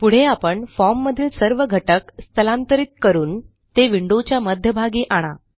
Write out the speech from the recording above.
पुढे आपण फॉर्म मधील सर्व घटक स्थलांतरित करून ते विंडोच्या मध्यभागी आणा